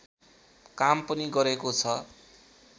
काम पनि गरेको छ